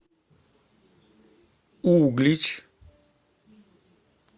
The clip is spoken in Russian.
углич